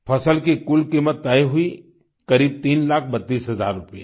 फसल की कुल कीमत तय हुई करीब तीन लाख बत्तीस हज़ार रूपये